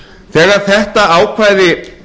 þegar þetta ákvæði